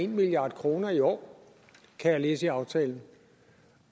milliard kroner i år kan jeg læse i aftalen